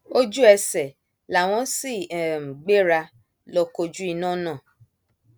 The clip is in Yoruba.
ojú ẹsẹ làwọn sì um gbéra lọ kojú iná náà